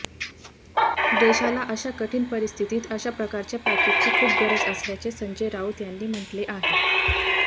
देशाला अशा कठिण परिस्थितीत अशा प्रकारच्या पॅकेजची खूप गरज असल्याचे संजय राऊत यांनी म्हटले आहे